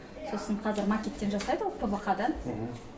сосын қазір макеттен жасайды ғой пвх дан